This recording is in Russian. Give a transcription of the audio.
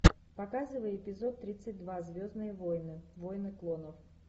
показывай эпизод тридцать два звездные войны войны клонов